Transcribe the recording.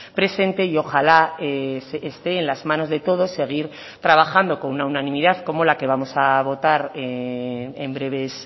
presente y ojalá esté en las manos de todos seguir trabajando con una unanimidad como la que vamos a votar en breves